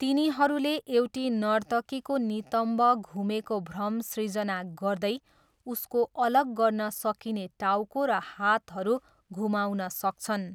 तिनीहरूले एउटी नर्तकीको नितम्ब घुमेको भ्रम सृजना गर्दै उसको अलग गर्न सकिने टाउको र हातहरू घुमाउन सक्छन्।